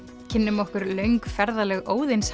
kynnum okkur löng ferðalög